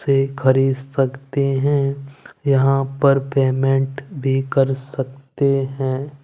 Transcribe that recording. से खरीद सकते हैं यहां पर पेमेंट भी कर सकते हैं।